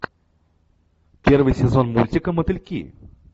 первый сезон мультика мотыльки